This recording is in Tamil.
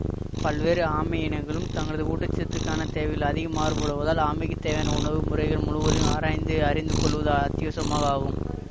பல்வேறு ஆமை இனங்களும் தங்களது ஊட்டச்சத்துக்கான தேவைகளில் அதிகம் மாறுபடுவதால் ஆமைக்கு தேவையான உணவு முறைகள் முழுவதையும் ஆராய்ந்து அறிந்து கொள்வது அத்தியாவசிய ஆகும்